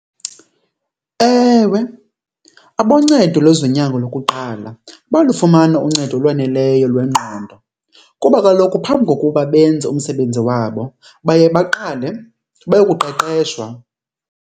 Ewe, aboncedo lwezonyango lokuqala bayalufumana uncedo olwaneleyo lwengqondo kuba kaloku phambi kokuba benze umsebenzi wabo baye baqale bayokuqeqeshwa.